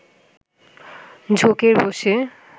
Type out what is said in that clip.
ঝোঁকের বসে